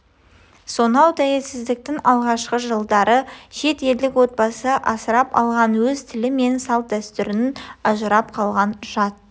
сонау тәуелсіздіктің алғашқы жылдары шет елдік отбасы асырып алған өз тілі мен салт дәстүрінен ажырап қалған жат